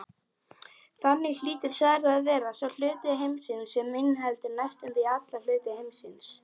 Þannig hlýtur svarið að vera sá hluti heimsins sem inniheldur næstum því alla hluta heimsins.